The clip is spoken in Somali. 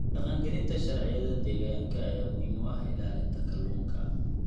Dhaqangelinta sharciyada deegaanka ayaa muhiim u ah ilaalinta kalluunka.